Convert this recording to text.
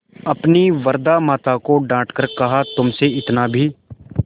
अपनी वृद्धा माता को डॉँट कर कहातुमसे इतना भी